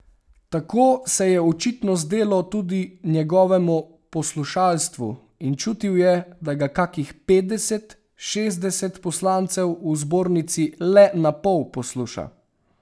Tako se je očitno zdelo tudi njegovemu poslušalstvu in čutil je, da ga kakih petdeset, šestdeset poslancev v zbornici le napol posluša.